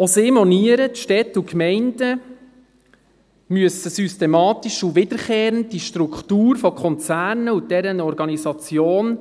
Auch sie monieren, dass die Städte und Gemeinden systematisch und wiederkehrend die Struktur von Konzernen und deren Organisation